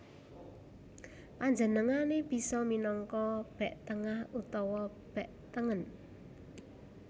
Panjenengané bisa minangka bek tengah utawa bek tengen